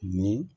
Ni